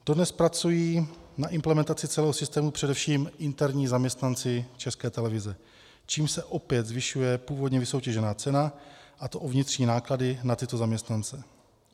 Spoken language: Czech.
Dodnes pracují na implementaci celého systému především interní zaměstnanci České televize, čímž se opět zvyšuje původně vysoutěžená cena, a to o vnitřní náklady na tyto zaměstnance.